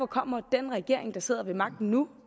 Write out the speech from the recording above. kommer den regering der sidder ved magten nu